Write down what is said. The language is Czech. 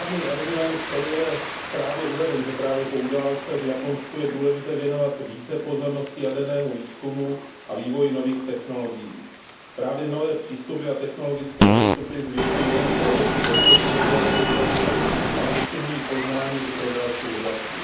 Argument, který je ve zprávě uveden, že právě po událostech v Japonsku je důležité věnovat více pozornosti jadernému výzkumu a vývoji nových technologií, je správný. Právě nové přístupy a technologické postupy zvyšují nejen provozní bezpečnost jaderných zařízení, ale posunují poznání i pro další oblasti.